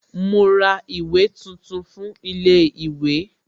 Mo ra ìwé tuntun fún ilé ìwé